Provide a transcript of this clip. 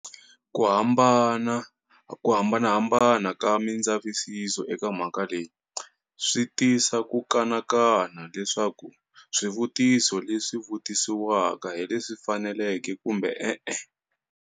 Kuhambanahambana ka mindzavisiso eka mhaka leyi, swi tisa ku kanakana leswaku swivutiso leswi vutisiwaka hileswi faneleke kumbe ee.